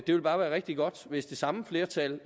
ville bare være rigtig godt hvis det samme flertal